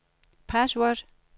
password